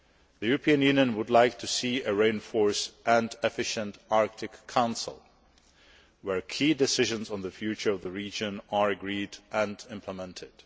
The European Union would like to see a reinforced and efficient Arctic Council, in which key decisions on the future of the region are agreed and implemented.